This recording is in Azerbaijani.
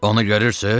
Onu görürsüz?